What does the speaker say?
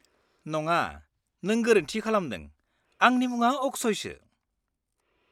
-नङा, नों गोरोन्थि खालामदों, आंनि मुङा अक्षयसो।